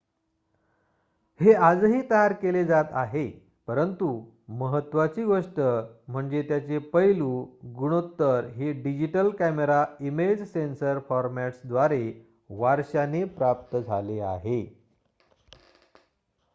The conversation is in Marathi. हे आजही तयार केले जात आहे परंतु महत्त्वाची गोष्ट म्हणजे त्याचे पैलू गुणोत्तर हे डिजिटल कॅमेरा इमेज सेन्सर फॉरमॅट्सद्वारे वारशाने प्राप्त झाले आहे